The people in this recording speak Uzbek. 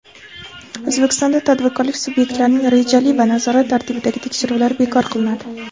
O‘zbekistonda tadbirkorlik subyektlarining rejali va nazorat tartibidagi tekshiruvlari bekor qilinadi.